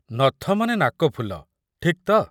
ନଥ ମାନେ ନାକଫୁଲ, ଠିକ୍ ତ?